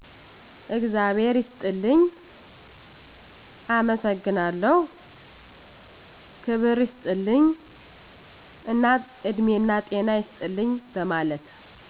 እግዛብሔር ይስጥልኝ፣ አመሠግናለሁ፣ ክብር ይስጥልኝ እና እድሜናጤና ይስጥልን በመለት